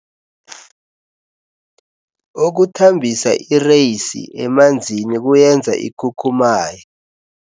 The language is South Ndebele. Ukuthambisa ireyisi emanzini kuyenza ikhukhumaye.